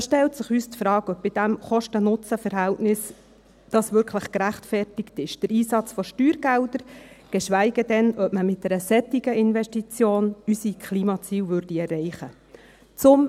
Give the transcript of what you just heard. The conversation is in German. Da stellt sich uns die Frage, ob der Einsatz von Steuergeldern bei diesem KostenNutzen-Verhältnis wirklich gerechtfertigt ist, geschweige denn, ob man mit einer solchen Investition unsere Klimaziele erreichen würde.